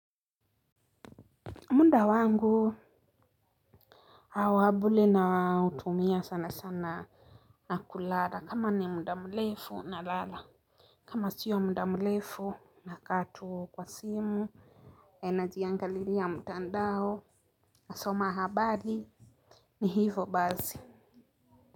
Muda wangu wa bure nautumia sana sana na kulala. Kama ni muda mrefu nalala. Kama siyo muda mrefu nakaa tu kwa simu, najiangalilia mtandao, nasoma habari ni hivo basi.